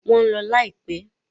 Wọ́n ń lọ láìpẹ́.